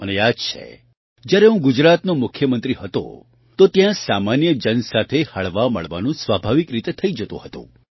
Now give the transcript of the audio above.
મને યાદ છે જ્યારે હું ગુજરાતનો મુખ્યમંત્રી હતો તો ત્યાં સામાન્ય જન સાથે હળવામળવાનું સ્વાભાવિક રીતે જ થઈ જતું હતું